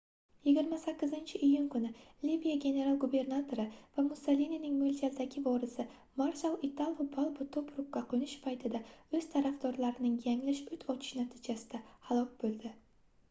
28-iyun kuni liviya general-gubernatori va mussolinining moʻljaldagi vorisi marshal italo balbo tobrukka qoʻnish paytida oʻz tarafdorlarining yanglish oʻt ochishi natijasida halok boʻldi